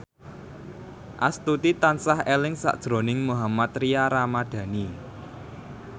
Astuti tansah eling sakjroning Mohammad Tria Ramadhani